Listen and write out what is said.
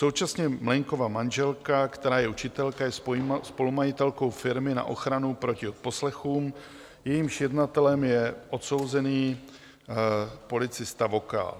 Současně Mlejnkova manželka, která je učitelka, je spolumajitelkou firmy na ochranu proti odposlechům, jejímž jednatelem je odsouzený policista Vokál.